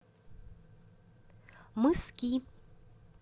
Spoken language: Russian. мыски